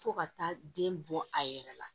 Fo ka taa den bɔ a yɛrɛ la